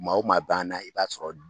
Maaw maa b'an na i b'a sɔrɔ